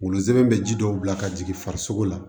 Wolonsɛbɛn bɛ ji dɔw bila ka jigin farisoko la